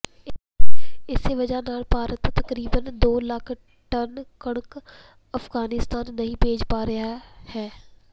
ਇਸੇ ਵਜ੍ਹਾ ਨਾਲ ਭਾਰਤ ਤਕਰੀਬਨ ਦੋ ਲੱਖ ਟਨ ਕਣਕ ਅਫ਼ਗਾਨਿਸਤਾਨ ਨਹੀਂ ਭੇਜ ਪਾ ਰਿਹਾ ਹੈ